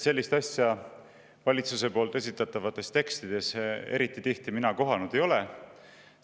Sellist asja ma valitsuse esitatavates tekstides eriti tihti kohanud ei ole.